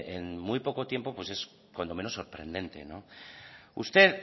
en muy poco tiempo pues es cuando menos sorprendente usted